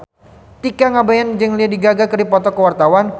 Tika Pangabean jeung Lady Gaga keur dipoto ku wartawan